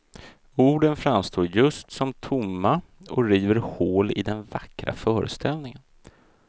Orden framstår just som tomma och river hål i den vackra föreställningen.